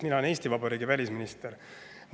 Mina olen Eesti Vabariigi välisminister.